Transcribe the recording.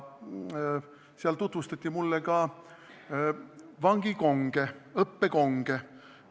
Seal tutvustati mulle ka õppekonge.